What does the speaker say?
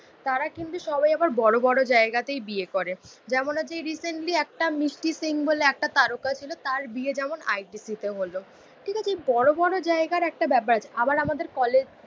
তারা কিন্তু সবাই আবার বড়ো বড়ো জায়গাতেই বিয়ে করে। যেমন হচ্ছে এই রিসেন্টলি একটা মিষ্টি সিং বলে একটা তারকা ছিল তার বিয়ে যেমন আই টি সি তে হলো। ঠিক আছে বড়োবড়ো জায়গার একটা ব্যাপার আবার আমাদের কলেজ